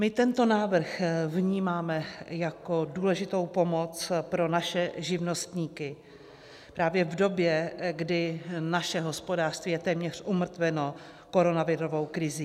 My tento návrh vnímáme jako důležitou pomoc pro naše živnostníky právě v době, kdy naše hospodářství je téměř umrtveno koronavirovou krizí.